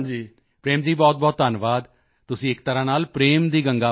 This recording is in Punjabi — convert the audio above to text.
ਪ੍ਰੇਮ ਜੀ ਬਹੁਤਬਹੁਤ ਧੰਨਵਾਦ ਤੁਸੀਂ ਇੱਕ ਤਰ੍ਹਾਂ ਨਾਲ ਪ੍ਰੇਮ ਦੀ ਗੰਗਾ ਵਹਾਅ ਰਹੇ ਹੋ